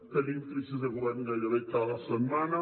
tenim crisis de govern gairebé cada setmana